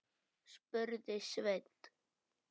spurði Sveinn.